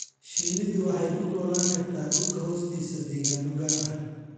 Shinnidu waxay ku noolaan kartaa dhulka hoostiisa deegaanno gaar ah.